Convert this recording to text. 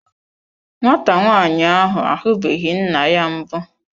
Nwata nwaanyị ahụ ahubeghi nna ya mbụ.